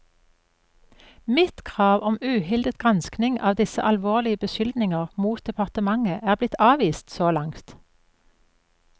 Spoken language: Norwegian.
Mitt krav om uhildet granskning av disse alvorlige beskyldninger mot departementet er blitt avvist så langt.